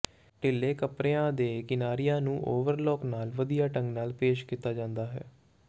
ਢਿੱਲੇ ਕੱਪੜਿਆਂ ਦੇ ਕਿਨਾਰਿਆਂ ਨੂੰ ਓਵਰਲਾਕ ਨਾਲ ਵਧੀਆ ਢੰਗ ਨਾਲ ਪੇਸ਼ ਕੀਤਾ ਜਾਂਦਾ ਹੈ